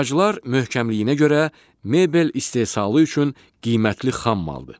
Ağaclar möhkəmliyinə görə mebel istehsalı üçün qiymətli xammaldır.